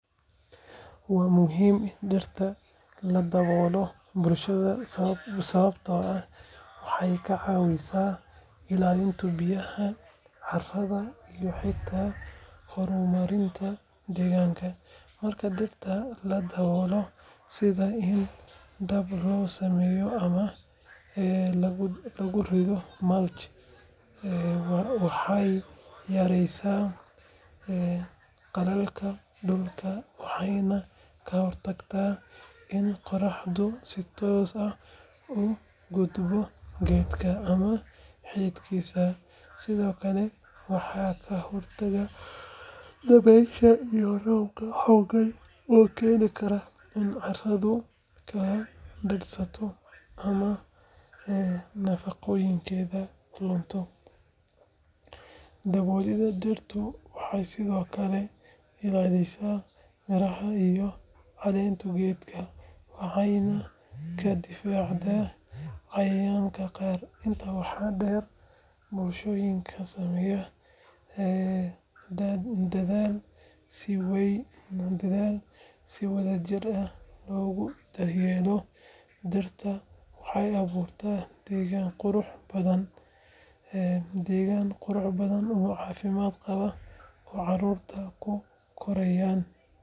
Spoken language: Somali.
Waa muhiim in dhirta lagu daboolo bulshadeena sababtoo ah waxay ka caawisaa ilaalinta biyaha, carrada iyo xitaa horumarinta deegaanka. Marka dhirta la daboolo sida in hadh loo sameeyo ama lagu rido mulch, waxay yareysaa qallaylka dhulka waxayna ka hortagtaa in qorraxdu si toos ah u gubto geedka ama xididkiisa. Sidoo kale waxay ka hortagtaa dabeysha iyo roobka xooggan oo keeni kara in carradu kala daadsanto ama nafaqooyinkeeda lunto. Daboolidda dhirtu waxay sidoo kale ilaalisaa miraha iyo caleenta geedka, waxayna ka difaacdaa cayayaanka qaar. Intaa waxaa dheer, bulshooyinka sameeya dadaal si wadajir ah loogu daryeelo dhirta, waxay abuuraan deegaan qurux badan oo caafimaad qaba oo carruurta ku korayaan.